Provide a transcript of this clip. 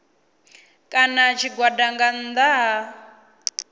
kana tshigwada nga nnḓa ha